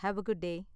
Have a good day!